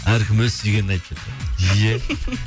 әркім өз сүйгенін иә